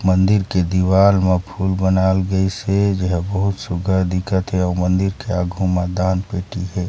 मंदिर के दीवाल म फ़ूल बनाइल गइसॆ जो है बहुत सुघर दिखत हे अउ मंदिर के आगहु मा दान पेटी हे।